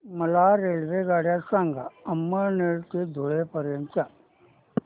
मला रेल्वेगाड्या सांगा अमळनेर ते धुळे पर्यंतच्या